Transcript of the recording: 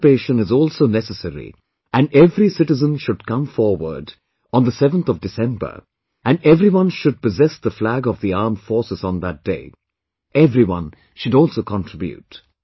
Participation is also necessary and every citizen should come forward on the 7thof December and everyone should possess the flag of the Armed Forces on that day; everyone should also contribute